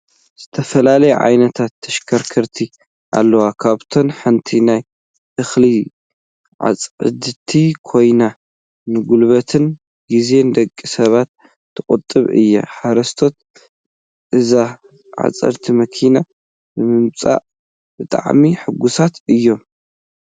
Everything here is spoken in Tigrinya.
ዝተፈላለያ ዓይነታት ተሽከርከርቲ ኣለዋ ካብኣተን ሓንቲ ናይ እክሊ ዓፃዲት ኮይና ንጉልበትን ግዜን ደቂ ሰባት ትቁጡብ እያ። ሓረስቶት እዚኣ ዓፃዲት መኪና ብምምፅኣ ብጣዕሚ ሕጉሳት እዮም።